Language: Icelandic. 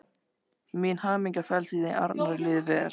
Mín hamingja felst í því að Arnari líði vel.